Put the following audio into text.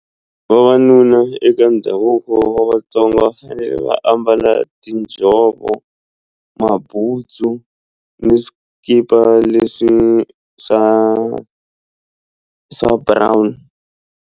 Vavanuna eka ndhavuko wa Vatsonga va fanele va ambala tinjhovo mabutsu ni swikipa leswi swa swa brown.